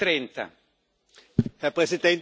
Herr Präsident, meine Damen und Herren!